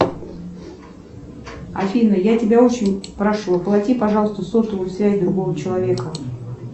афина я тебя очень прошу оплати пожалуйста сотовую связь другого человека